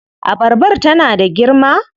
Abarbar tana da girma?